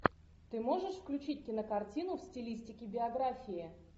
ты можешь включить кинокартину в стилистике биография